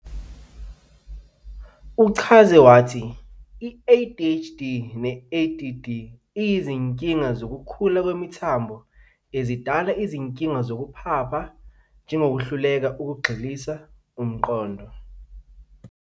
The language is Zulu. Uchaza wathi i-ADHD ne-ADD, iyizinkinga zokukhula kwemithambo ezidala izinkinga zokuphapha, njegokuhluleka ukugxilisa umqondo.